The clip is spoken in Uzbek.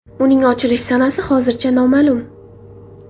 Uning ochilish sanasi hozircha noma’lum.